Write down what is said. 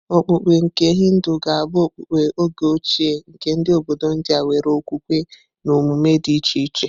Okpukpe nke Hindu ga-abụ okpukpe oge ochie nke ndị obodo India nwere okwukwe na emume dị iche iche.